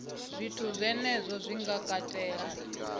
zwithu zwenezwo zwi nga katela